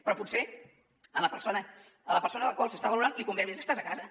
però potser a la persona a la qual s’està valorant li convé més estar·se a casa